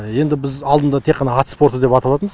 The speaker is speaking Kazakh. енді біз алдында тек қана ат спорты деп аталатынбыз